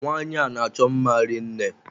Nwanyi a n'achọ mma rinne.